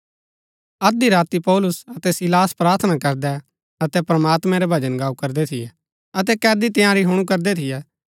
अध्धी राती पौलुस अतै सीलास प्रार्थना करदै अतै प्रमात्मैं रै भजन गाऊ करदै थियै अतै कैदी तंयारी हुणु करदै थियै